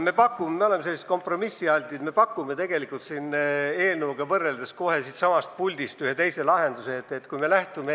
Me oleme kompromissialtid ja pakume kohe siitsamast puldist ühe teise lahenduse selle eelnõu kõrvale.